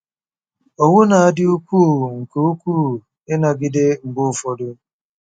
Owu na-adị ukwuu nke ukwuu ịnagide mgbe ụfọdụ.